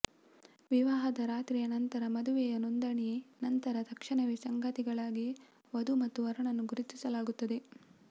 ವಿವಾಹದ ರಾತ್ರಿಯ ನಂತರ ಮದುವೆಯ ನೋಂದಣಿ ನಂತರ ತಕ್ಷಣವೇ ಸಂಗಾತಿಗಳಾಗಿ ವಧು ಮತ್ತು ವರನನ್ನು ಗುರುತಿಸಲಾಗುತ್ತದೆ